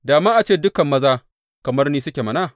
Da ma a ce dukan maza kamar ni suke mana.